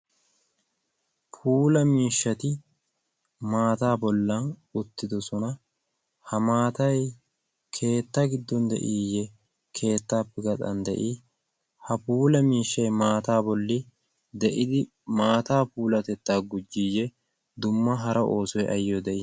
puula miishshati maataa bollan uttidosona. ha maatai keetta giddon de7iiyye keettaappe gaxan de7ii? ha puula miishshai maataa bolli de7idi maataa puulatettaa gujjiiyye dumma hara oosoi ayyo de7ii?